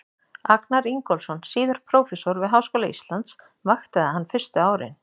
Agnar Ingólfsson, síðar prófessor við Háskóla Íslands, vaktaði hann fyrstu árin.